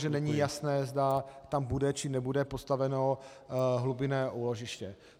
- že není jasné, zda tam bude, či nebude postaveno hlubinné úložiště.